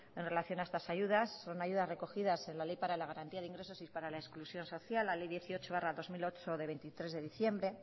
en relación a estas ayudas son ayudas recogidas en la ley para la garantía de ingresos y para la exclusión social la ley dieciocho barra dos mil ocho de veintitrés de diciembre